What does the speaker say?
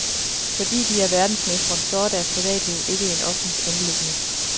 Fordi de er verdensmestre, så er deres privatliv ikke et offentligt anliggende.